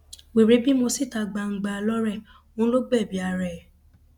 wẹrẹ bímọ síta gbangba lọrẹ òun ló gbẹbí ara ẹ